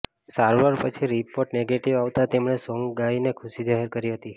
સારવાર પછી report negative આવતાં તેમણે સોંગ ગાઈને ખુશી જાહેર કરી હતી